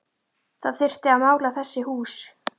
Það þyrfti að mála þessi hús